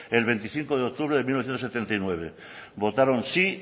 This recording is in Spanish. el veinticinco de octubre de mil novecientos setenta y nueve votaron si